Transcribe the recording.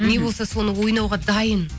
не болса соны ойнауға дайын